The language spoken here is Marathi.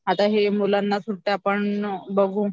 आता हे मुलांना सुट्ट्या पण बघू